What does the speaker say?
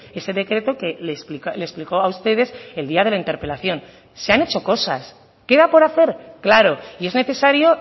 ese decreto que le explicó a ustedes el día de la interpelación se han hecho cosas queda por hacer claro y es necesario